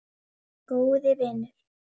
Góði vinur.